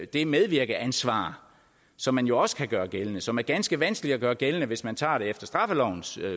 det medvirkeansvar som man jo også kan gøre gældende og som er ganske vanskeligt at gøre gældende hvis man tager det efter straffelovens